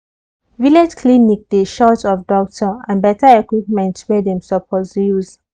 village clinic dey short of doctor and better equipment wey dem suppose use.